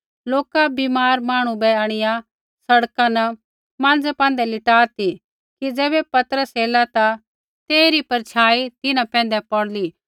लोका बीमार मांहणु बै आंणिआ सड़का न माँज़ै पैंधै लिटा ती कि ज़ैबै पतरस एला ता तेइरी परछाई तिन्हां पैंधै पौड़ली